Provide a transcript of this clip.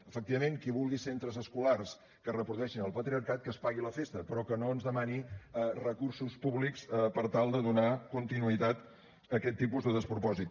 efectivament qui vulgui centres escolars que reprodueixin el patriarcat que es pagui la festa però que no ens demani recursos públics per tal de donar continuïtat a aquest tipus de despropòsit